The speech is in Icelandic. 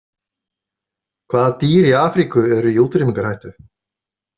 Hvaða dýr í Afríku eru í útrýmingarhættu?